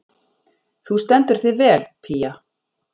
Þú stendur þig vel, Pía!